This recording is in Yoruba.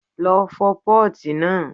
Lọ fọ pọ́ọ̀tì náà!